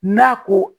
N'a ko